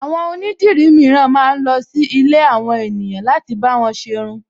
Àwọn onídirí mìíràn ma ń lọ sí ilé àwọn ènìyàn láti bá wọn ṣ'erun